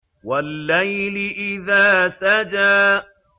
وَاللَّيْلِ إِذَا سَجَىٰ